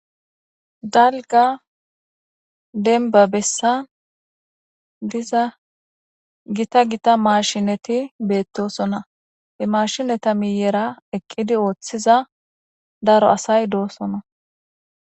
Daligga demiba besani diza gita gita mashineti betosona he mashineta miyera eqidi othiza daro assayi dosona